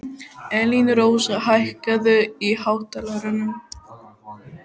Elínrós, hækkaðu í hátalaranum.